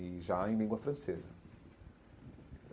E já em língua francesa.